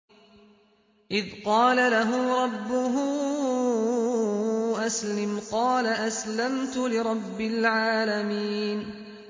إِذْ قَالَ لَهُ رَبُّهُ أَسْلِمْ ۖ قَالَ أَسْلَمْتُ لِرَبِّ الْعَالَمِينَ